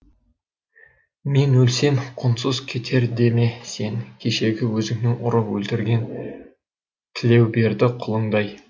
мен өлсем құнсыз кетер деме сен кешегі өзіңнің ұрып өлтірген тілеуберді құлыңдай